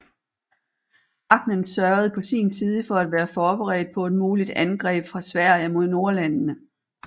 Ahnen sørgede på sin side for at være forberedt på et muligt angreb fra Sverige mod Nordlandene